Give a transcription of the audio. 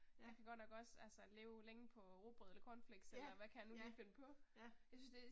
Ja. Ja, ja, ja